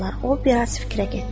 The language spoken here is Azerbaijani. O biraz fikrə getdi.